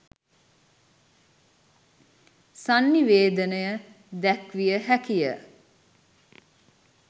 සන්නිවේදනය දැක්විය හැකිය.